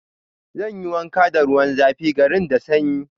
Zan yi wanka da ruwan zafi, garin da sanyi.